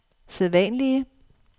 sædvanlige